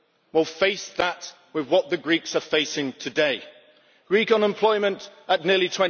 Well face that with what the Greeks are facing today Greek unemployment at nearly